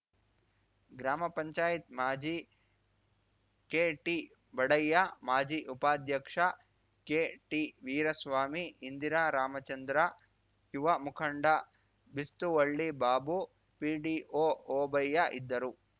ಗ್ರಾಮಪಂಚಾಯತ್ ಮಾಜಿ ಕೆಟಿ ಬಡಯ್ಯ ಮಾಜಿ ಉಪಾಧ್ಯಕ್ಷ ಕೆಟಿ ವೀರಸ್ವಾಮಿ ಇಂದಿರಾ ರಾಮಚಂದ್ರ ಯುವ ಮುಖಂಡ ಬಿಸ್ತುವಳ್ಳಿ ಬಾಬು ಪಿಡಿಒ ಓಬಯ್ಯ ಇದ್ದರು